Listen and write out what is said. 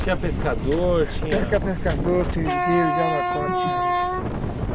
Tinha pescador, tinha... Tinha pescador, seringueiro, javacó tinha aí.